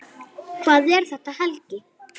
Hvað er þetta, Helgi?